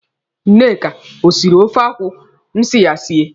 Nneka ọ siri ofe akwụ m si ya sie?